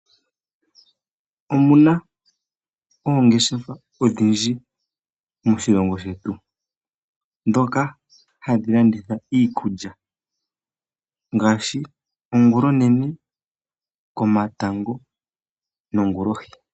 Omu na oongeshefa odhindji moshilongo shetu ndhoka hadhi landitha iikulya ngaashi ongulonene, komatango nongulohi.